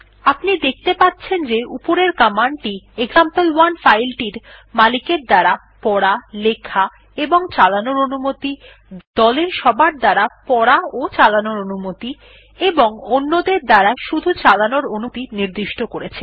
আপনি দেখতে পাচ্ছেন যে উপরের কমান্ড টি এক্সাম্পল1 ফাইল টির মালিকের দ্বারা পড়া লেখাচালানোর অনুমতি দলের সবার দ্বারা পড়াচালানোর অনুমতি এবং অন্যদের দ্বারা শুধু চালানোর অনুমতি নির্দিষ্ট করেছে